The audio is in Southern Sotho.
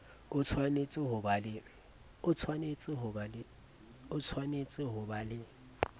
o tshwanetse ho ba le